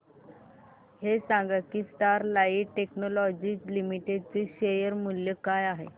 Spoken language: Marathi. हे सांगा की स्टरलाइट टेक्नोलॉजीज लिमिटेड चे शेअर मूल्य काय आहे